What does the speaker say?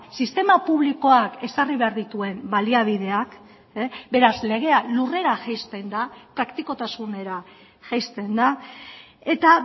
sistema publikoak ezarri behar dituen baliabideak beraz legea lurrera jaisten da praktikotasunera jaisten da eta